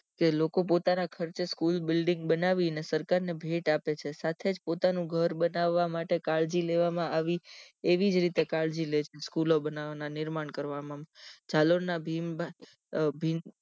જે લોકો પોતાના ખર્ચે સ્કૂલ building બનાવીને સરકાર ને ભેટ આપે છે સાથે જ પોતાનું ગર બનાવા માટે કાળજી લેવા માં આવી એવીજ રીતે કાળજી લે સ્કૂલ બનાવાના નિર્માણ કરવામાં જાલોર ના ભીમ ભીંત